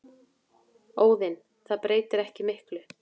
Óðinn: Það breytir ekki miklu.